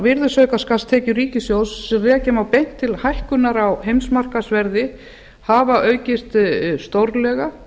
virðisaukaskattstekjur ríkissjóðs sem rekja má beint til hækkunar á heimsmarkaðsverði hafa aukist stórlega